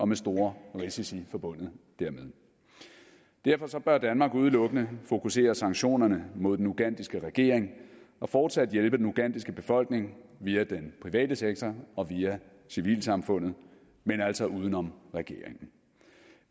med store risici forbundet dermed derfor bør danmark udelukkende fokusere sanktionerne mod den ugandiske regering og fortsat hjælpe den ugandiske befolkning via den private sektor og via civilsamfundet men altså uden om regeringen